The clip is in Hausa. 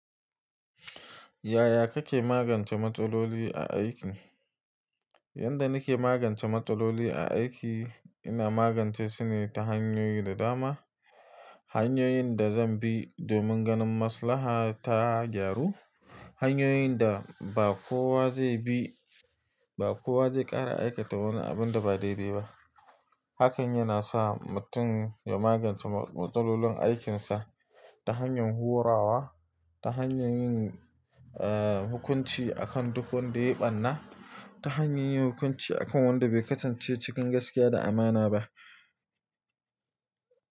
Yaya kake magance matsaloli a aiki? Yanda nake magance matsaloli a aiki, ina magance su ne ta hanyoyi da dama. Hanyoyin da zan bi domin ganin maslaha ta gyaru. Hanyoyin da ba kowa zai bi, ba kowa zai ƙara aikata wani abin da ba daidai ba. Hakan yana sa mutum ya magance matsalolin aikinsa ta hanyar horawa, ta hanyar yin, hukunci akan duk wanda ya ɓanna, ta hanyar yin hukunci akan wanda bai kasance cikin gaskiya da amana ba.